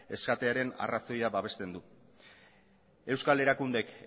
esatearen arrazoia babesten du euskal erakundeek